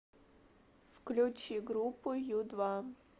включи группу ю два